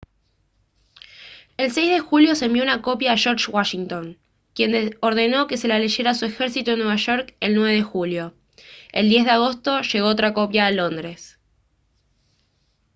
el 6 de julio se envió una copia a george washington quien ordenó que se la leyeran a su ejército en nueva york el 9 de julio el 10 de agosto llegó otra copia a londres